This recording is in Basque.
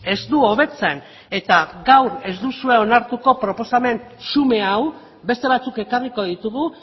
ez du hobetzen eta gaur ez duzue onartuko proposamen xume hau beste batzuk ekarriko ditugu